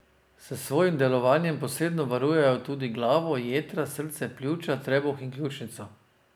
S svojim delovanjem posredno varujejo tudi glavo, jetra, srce, pljuča, trebuh in ključnico.